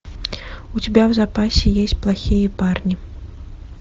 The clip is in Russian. у тебя в запасе есть плохие парни